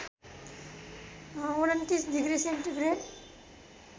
२९ degree centigrade